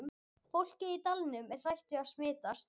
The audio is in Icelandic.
Fólkið í dalnum er hrætt við að smitast.